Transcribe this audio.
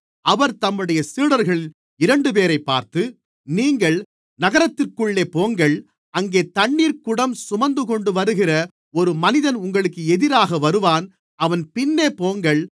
அவர் தம்முடைய சீடர்களில் இரண்டுபேரைப் பார்த்து நீங்கள் நகரத்திற்குள்ளே போங்கள் அங்கே தண்ணீர் குடம் சுமந்துகொண்டு வருகிற ஒரு மனிதன் உங்களுக்கு எதிராக வருவான் அவன் பின்னே போங்கள்